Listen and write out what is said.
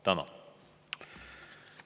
Tänan!